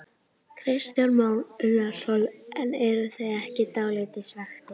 Kristján Már Unnarsson: En eruð þið ekki dálítið svekktir?